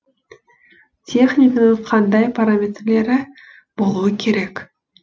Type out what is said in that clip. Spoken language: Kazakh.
техниканың қандай параметрлері болуы керек